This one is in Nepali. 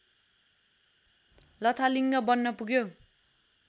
लथालिङ्ग बन्न पुग्यो